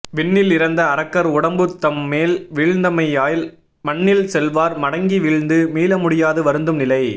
விண்ணில் இறந்த அரக்கர் உடம்பு தம்மேல் வீழ்ந்தமையால் மண்ணில் செல்வார் மடங்கி வீழ்ந்து மீளமுடியாது வருந்தும் நிலை